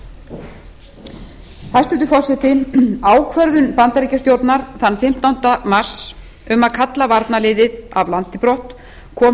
suðurnesja hæstvirtur forseti ákvörðun bandaríkjastjórnar þann fimmtánda mars um að kalla varnarliðið af landi brott kom